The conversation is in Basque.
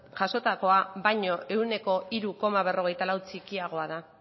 jasotakoa baino ehuneko hiru koma berrogeita lau txikiagoa da